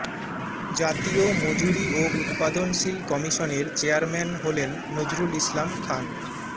জাতীয় মজুরি ও উৎপাদনশীল কমিশনের চেয়ারম্যান হলেন নজরুল ইসলাম খান